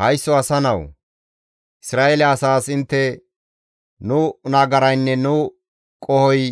«Haysso asa nawu! Isra7eele asaas intte, ‹Nu nagaraynne nu qohoy